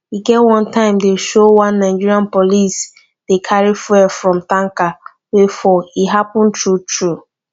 e get one time dem show one nigerian police dey carry fuel from tanker wey fall e happen true true